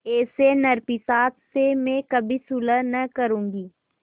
ऐसे नरपिशाच से मैं कभी सुलह न करुँगी